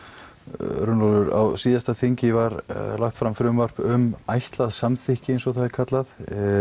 Runólfur á síðasta þingi var lagt fram frumvarp um ætlað samþykki eins og það er kallað